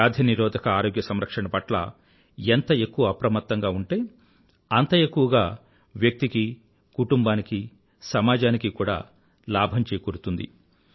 వ్యాధి నిరోధక ఆరోగ్య సంరక్షణ పట్ల ఎంత ఎక్కువ అప్రమత్తంగా ఉంటే అంత ఎక్కువగా వ్యక్తికీ కుటుంబానికీ సమాజానికీ కూడా లాభం చేకూరుతుంది